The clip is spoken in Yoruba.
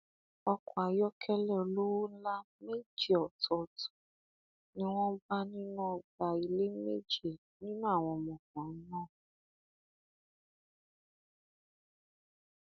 ọkọ ayọkẹlẹ olówó ńlá méje ọtọọtọ ni wọn bá nínú ọgbà ilé méje nínú àwọn ọmọkùnrin náà